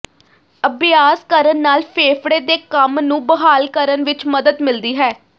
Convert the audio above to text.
ਅਭਿਆਸ ਕਰਨ ਨਾਲ ਫੇਫੜੇ ਦੇ ਕੰਮ ਨੂੰ ਬਹਾਲ ਕਰਨ ਵਿਚ ਮਦਦ ਮਿਲਦੀ ਹੈ